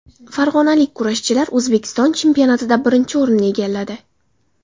Farg‘onalik kurashchilar O‘zbekiston chempionatida birinchi o‘rinni egalladi.